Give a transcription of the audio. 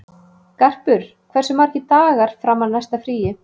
Garpur, hversu margir dagar fram að næsta fríi?